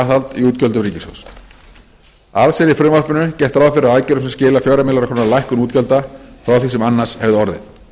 í útgjöldum ríkissjóðs alls er í frumvarpinu gert ráð fyrir aðgerðum sem skila fjóra milljarða króna lækkun útgjalda frá því sem annars hefði orðið